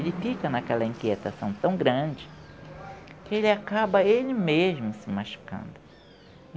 Ele fica naquela inquietação tão grande que ele acaba ele mesmo se machucando.